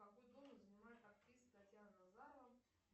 какой должность занимает актриса татьяна назарова